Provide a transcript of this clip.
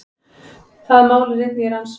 Það mál er einnig í rannsókn